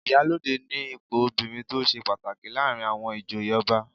Ìyálóde ni ipò obìnrin tó ṣe pàtàkì láàrin àwọn ìjòyè ọba